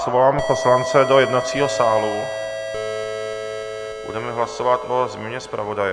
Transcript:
Svolám poslance do jednacího sálu, budeme hlasovat o změně zpravodaje.